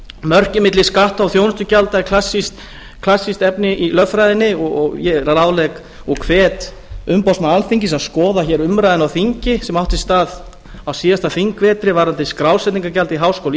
mörkin milli skatta og þjónustugjalda er klassískt efni í lögfræðinni og ég ráðlegg og hvet umboðsmann alþingis að skoða hér umræðuna á þingi sem átti sér stað á síðasta þingvetri varðandi skrásetningargjald í háskóla